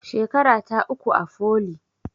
Shekarata uku a foli